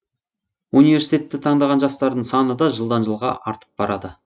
университетті таңдаған жастардың саны да жылдан жылға артып барады